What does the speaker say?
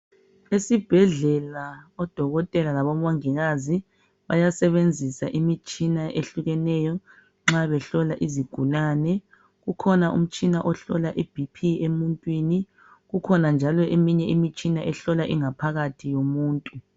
Esibhedlela odokotela labomongikazi bayasebenzisa imitshina eyehlukeneyo nxa behlola izigulane kukhona umtshina ohlola ebhiphi emuntwini kukhona njalo imitshina ehlola ingaphakathi yomuntu